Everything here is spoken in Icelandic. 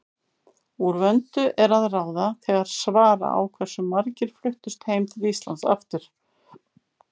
Úr vöndu er að ráða þegar svara á hversu margir fluttust heim til Íslands aftur.